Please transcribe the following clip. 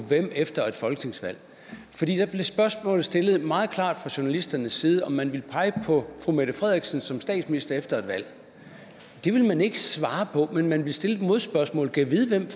efter et folketingsvalg for spørgsmålet blev stillet meget klart fra journalisternes side nemlig om man ville pege på fru mette frederiksen som statsminister efter et valg det ville man ikke svare på men man stillede et modspørgsmål gad vide hvem